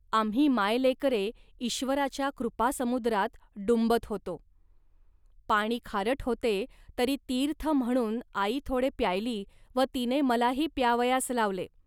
आम्ही मायलेकरे ईश्वराच्या कृपासमुद्रात डुंबत होतो. पाणी खारट होते, तरी तीर्थ म्हणून आई थोडे प्यायली व तिने मलाही प्यावयास लावले